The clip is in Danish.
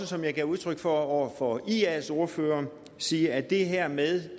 som jeg gav udtryk for over for ias ordfører sige at det her med